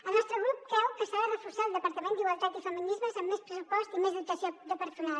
el nostre grup creu que s’ha de reforçar el departament d’igualtat i feminismes amb més pressupost i més dotació de personal